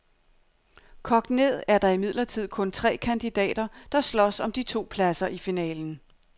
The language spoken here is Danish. Kogt ned er der imidlertid kun tre kandidater, der slås om de to pladser i finalen.